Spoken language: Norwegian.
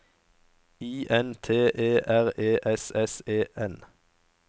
I N T E R E S S E N